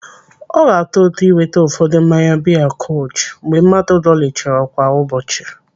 Ọ ga-atọ ụtọ ịnweta ụfọdụ mmanya biya kolsch mgbe mmadụ dọlichara kwa ụbọchị.